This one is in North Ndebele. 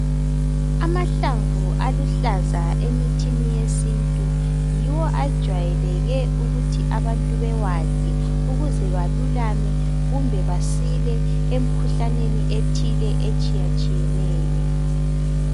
Amahlamvu aluhlaza emithini yesintu yiwo ajwayeleke ukuthi abantu bewadle ukuze balulame kumbe basile emikhuhlaneni eminengi etshiyatshiyeneyo.